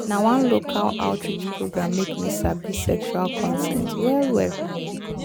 na one local outreach program make me sabi sexual consent well well